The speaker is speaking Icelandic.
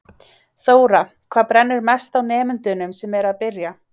Þóra: Hvað brennur mest á nemendunum sem eru að byrja?